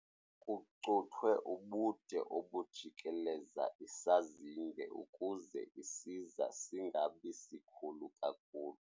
Kucuthwe ubude obujikeleza isazinge ukuze isiza singabi sikhulu kakhulu.